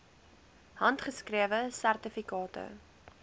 handgeskrewe sertifikate